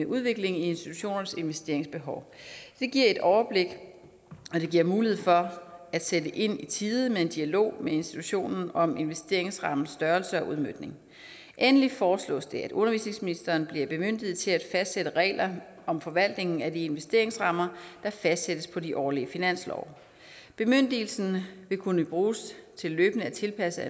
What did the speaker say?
udviklingen i institutionernes investeringsbehov det giver et overblik og det giver mulighed for at sætte ind i tide med en dialog med institutionen om investeringsrammens størrelse og udmøntning endelig foreslås det at undervisningsministeren bliver bemyndiget til at fastsætte regler om forvaltningen af de investeringsrammer der fastsættes på de årlige finanslove bemyndigelsen vil kunne bruges til løbende at tilpasse